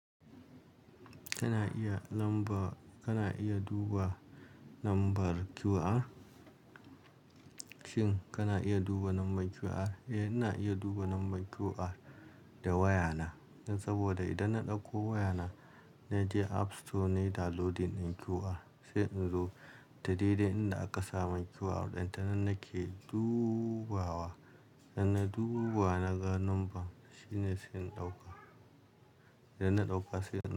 Kana iya lamba, kana iya duba number QR shin kana iya duba number QR? Eh, ina iya duba number QR da wayana saboda idan na ɗauko wayana na je app store na yi downloading QR sai in zo dadai da inda aka saba QR ɗin tana nake dubawa. Dan na dubawa naga number shine sai in ɗauka. Idan na ɗauka sai in-